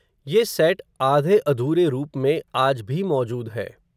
ये सैट आधे अधूरे रूप में, आज भी मौजूद है